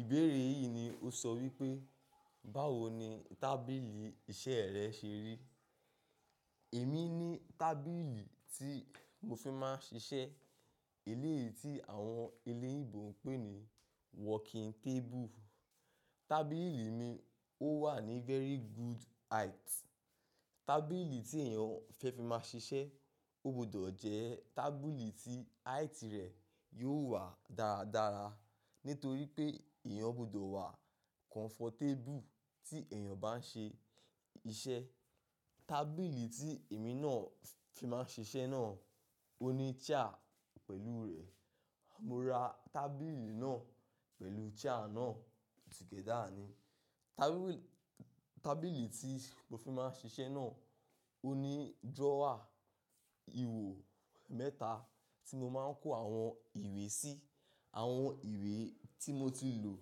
Ìbéèrè yìí ni o sọ wípé, báwo ni tábìlì iṣẹ́ rẹ ṣe rí? Èmi ní tábìlì tí mo fi máa ń ṣiṣẹ́ eléyìí tí àwọn eléyìnbò ń pè ní working table. Tábìlì mi ò wà ní very good height. Tábìlì tí èèyàn fẹ́ fi máa ṣiṣẹ́, ó gbọdọ̀ jẹ́ tábìlì tí height rẹ̀ yóò wà dáradára. Nítorí pé èèyàn gbọdọ̀ wà comfortable tí èèyàn bá ń ṣe iṣẹ́. Tábìlì tí èmi náà fi máa ń ṣiṣẹ́ náà ó ní chair pẹ̀lú rẹ̀. Mo ra tábìlì náà pẹ̀lú chair náà together ni. Tábìlì tí mo fi máa ń ṣiṣẹ́ náà ó ní drawer ihò mẹ́ta tí mo máa ń kó àwọn ìwé sí. Àwọn ìwé tí mo ti lò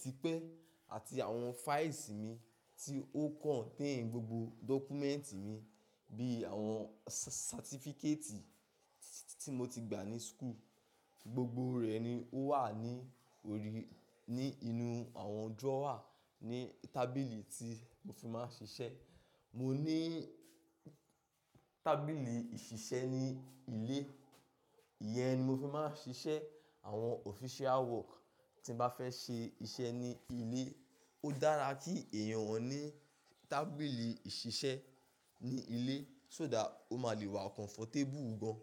tipẹ́ àti àwọn files mi tí ó contain gbogbo document mi bíi àwọn certificate tí mo ti gbà ní school. Gbogbo rẹ̀ ni ó wà ní orí, ní inú àwọn drawer ní tábìlì tí mo fi máa ń ṣiṣẹ́. Mo ní tábìlì ìṣiṣẹ́ ní ilé, iyẹn ni mo fi máa ń ṣiṣẹ́ àwọn official work tí n bá fẹ́ ṣe iṣẹ́ ní ilé. Ó dára kí èèyàn ní tábìlì ìṣiṣẹ́ ní ilé, sóda ó máa lè wà comfortable gán.